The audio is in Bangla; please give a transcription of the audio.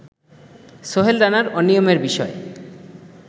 সোহেল রানার অনিয়মের বিষয়